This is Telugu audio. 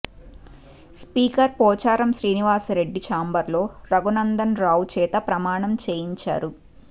స్పీకర్ పోచారం శ్రీనివాస్ రెడ్డి ఛాంబర్లో రఘునందన్ రావు చేత ప్రమాణం చేయించారు